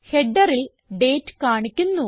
Headerൽ date കാണിക്കുന്നു